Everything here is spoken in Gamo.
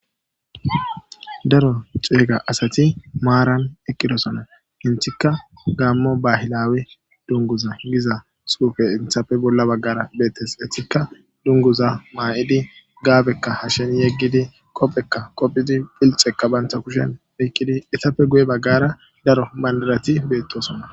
daro ceega asati maaran eqqidosona hintikka gaammo bahilawi dunguza giza suufe inthapfe bolla baggara beettes hitikka dunguza maa'idi gaabekka hashen yeggidi qophekka qophidi pilxekka banta kushen oyikkidi itapfe guye baggara daro bandarati beettosona